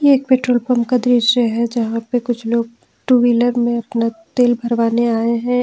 ये एक petrol pump का दृश्य है जहां पे कुछ लोग टू व्हीलर में अपना तेल भरवाने आए हैं।